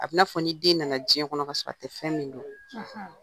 A bɛ i n'a fɔ ni den nana diɲɛ kɔnɔ ka sɔrɔ a tɛ fɛn min dun.